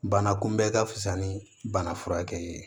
Bana kunbɛn ka fisa ni bana furakɛ ye